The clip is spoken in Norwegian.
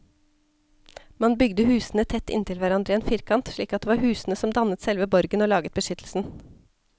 Man bygde husene tett inntil hverandre i en firkant, slik at det var husene som dannet selve borgen og laget beskyttelsen.